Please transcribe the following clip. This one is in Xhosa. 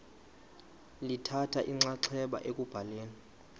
lithatha inxaxheba ekubhaleni